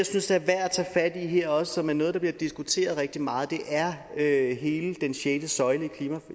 synes er værd at tage fat i her og som er noget der bliver diskuteret rigtig meget er hele den sjette søjle